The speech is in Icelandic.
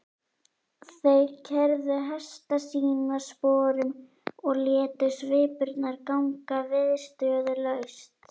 Þeir keyrðu hesta sína sporum og létu svipurnar ganga viðstöðulaust.